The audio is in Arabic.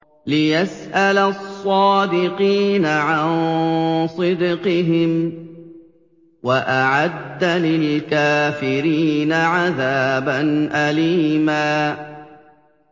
لِّيَسْأَلَ الصَّادِقِينَ عَن صِدْقِهِمْ ۚ وَأَعَدَّ لِلْكَافِرِينَ عَذَابًا أَلِيمًا